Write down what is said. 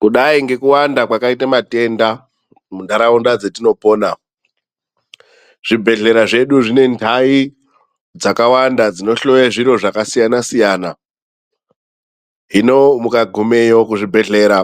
Kudai ngekuwanda kwakaite matenda muntaraunda dzetinopona, zvibhedhlera zvedu zvine ntai dzakawanda dzinohloye zviro zvakasiyana-siyana. Hino mukagumeyo kuzvibhedhlera,